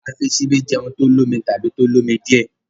a fí Ṣíbí jé oúnjẹ olómi tàbí tó l'omi díẹ.